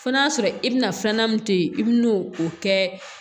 Fɔ n'a sɔrɔ i bɛna filanan min to yen i bɛ n'o o kɛ